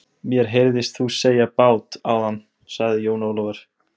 Ég vil að andrúmsloftið verði með þeim hætti að allir verði sameinaðir.